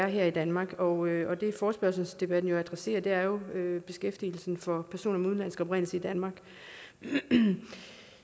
her i danmark og det forespørgselsdebatten adresserer er jo beskæftigelsen for personer med udenlandsk oprindelse i danmark